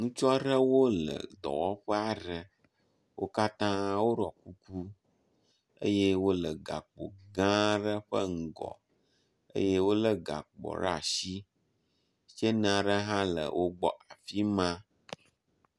Ŋutsu aɖewo le dɔwɔƒe aɖe. wo katã woɖɔ kuku eye wo le gakpo gã aɖe ƒe ŋgɔ eye wo le gakpoa ɖe asi. Tseni aɖe hã le wogbɔ afi ma.